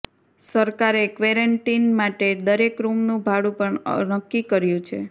સરકારે ક્વરેન્ટીન માટે દરેક રૂમનું ભાડું પણ નક્કી કર્યું છે